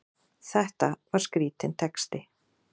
Þetta var skrítinn texti!